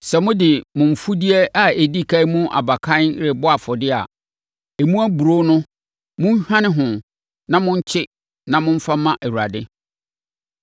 “ ‘Sɛ mode mo mfudeɛ a ɛdi ɛkan mu aba kane rebɛbɔ afɔdeɛ a, emu aburoo no monhwane ho na monkye na momfa mma Awurade.